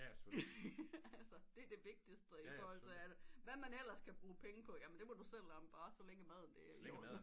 Altså det er det vigtigeste i forhold til alt hvad du ellers kan bruge penge på det må du selv om bare så længe maden er der